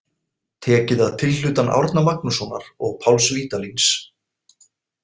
Tekið að tilhlutan Árna Magnússonar og Páls Vídalíns.